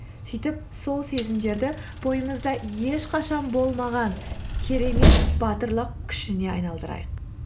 сөйтіп сол сезімдерді бойымызда ешқашан болмаған керемет батырлық күшіне айналдырайық